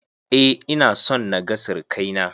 Eh, ina son na ga sirakai na.